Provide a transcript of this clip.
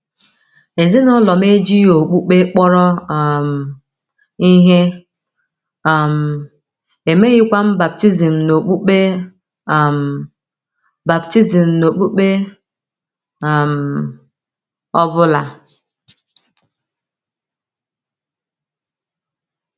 “ Ezinụlọ m ejighị okpukpe kpọrọ um ihe, um e meghịkwa m baptizim n’okpukpe um baptizim n’okpukpe um ọ bụla.